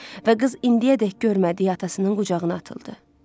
Və qız indiyədək görmədiyi atasının qucağına atıldı.